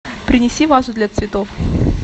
принеси вазу для цветов